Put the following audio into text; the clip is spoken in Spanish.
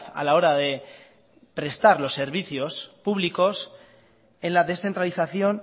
a la hora de prestar los servicios públicos en la descentralización